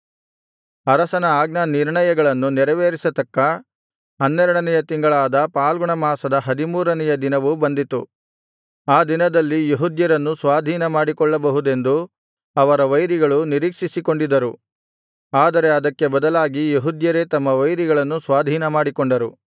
ಅರಸನ ಆಜ್ಞಾನಿರ್ಣಯಗಳನ್ನು ನೆರವೇರಿಸತಕ್ಕ ಹನ್ನೆರಡನೆಯ ತಿಂಗಳಾದ ಫಾಲ್ಗುಣಮಾಸದ ಹದಿಮೂರನೆಯ ದಿನವು ಬಂದಿತು ಆ ದಿನದಲ್ಲಿ ಯೆಹೂದ್ಯರನ್ನು ಸ್ವಾಧೀನ ಮಾಡಿಕೊಳ್ಳಬಹುದೆಂದು ಅವರ ವೈರಿಗಳು ನಿರೀಕ್ಷಿಸಿಕೊಂಡಿದ್ದರು ಆದರೆ ಅದಕ್ಕೆ ಬದಲಾಗಿ ಯೆಹೂದ್ಯರೇ ತಮ್ಮ ವೈರಿಗಳನ್ನು ಸ್ವಾಧೀನಮಾಡಿಕೊಂಡರು